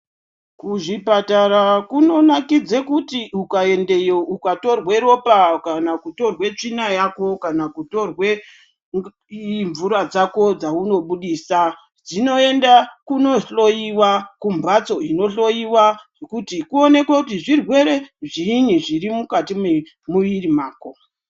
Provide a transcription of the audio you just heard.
Kuzvipatara kunonakidze kuti ukayendeyo, ukatorwe ropa, kana kutorwe tsvina yako, kana kutorwe mvura dzako dzawunobudisa , zvinoyenda kunohloyiwa kumbatso inohloyiwa, kuti kuwonekwe kuti zvirwere zvinyi zvirimukati memwiri mako.